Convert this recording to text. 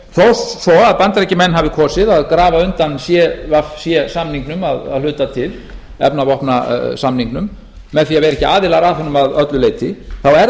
þótt svo að bandaríkjamenn hafi kosið að grafa undan cvc samningum að hluta til efnavopnasamningnum með því að vera ekki aðilar að honum að öllu leyti þá er það